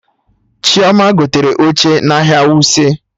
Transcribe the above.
Chioma gotere oche n'ahịa Wuse